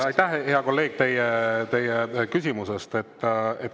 Ma sain aru, hea kolleeg, teie küsimusest.